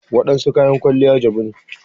Waɗansu kayan kwaliya jabu ne.